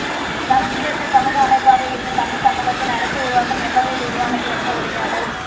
சமச்சீரற்ற சமூக அமைப்பாக இருந்த தமிழ்ச் சமூகத்தில் அரசு உருவாக்கம் எவ்வகையில் உருவானது என்ற உரையாடல்